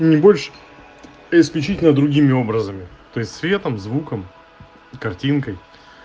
не больше а исключительно другими образами то есть светом звуком картинкой